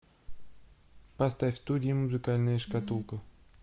поставь студия музыкальная шкатулка